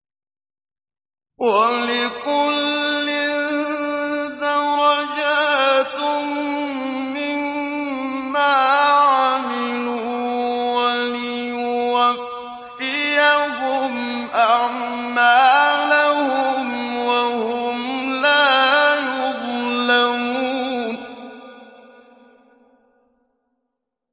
وَلِكُلٍّ دَرَجَاتٌ مِّمَّا عَمِلُوا ۖ وَلِيُوَفِّيَهُمْ أَعْمَالَهُمْ وَهُمْ لَا يُظْلَمُونَ